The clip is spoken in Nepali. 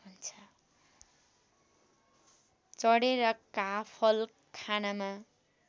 चढेर काफल खानमा